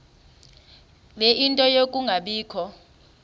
ie nto yokungabikho